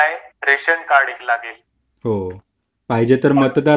हो हो पाहिजे तर मतदार ओळखपत्र बरोबर ठेवायला सांग